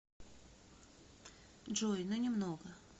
джой ну немного